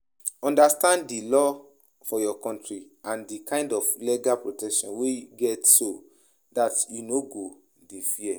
Understand di law for your country and di kind of legal protection wey you get so dat you no go dey fear